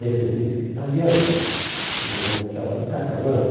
descendente de italiano, e eram chamados de carcamano.